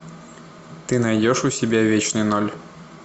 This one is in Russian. ты найдешь у себя вечный ноль